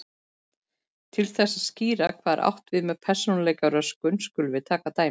Til þess að skýra hvað átt er við með persónuleikaröskun skulum við taka dæmi.